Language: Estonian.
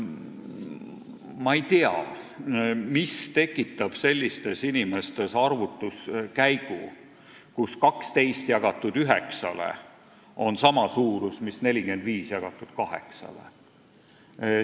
Ma ei tea, mis on tekitanud selle, et nende inimeste arvates on 12 jagamisel 9-ga tulemuseks sama suurus, mis 45 jagamisel 8-ga.